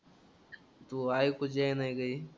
तू ऐकूच येई ना का हे?